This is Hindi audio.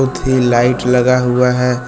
थी लाइट लगा हुआ है।